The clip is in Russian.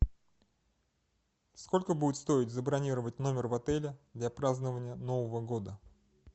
сколько будет стоить забронировать номер в отеле для празднования нового года